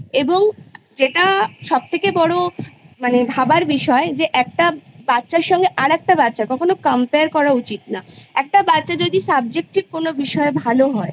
এবং যেটা সবথেকে বড়ো মানে ভাবার বিষয় একটা বাচ্ছার সঙ্গে আরেকটা বাচ্ছার কখনো Compare করা উচিত না একটা বাচ্ছা যদি Subjective কোনো বিষয়ে ভালো হয়